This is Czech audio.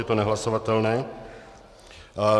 Je to nehlasovatelné.